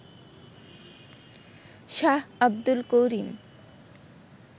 Shah Abdul Karim